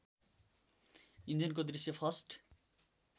इन्जिनको दृश्य फस्ट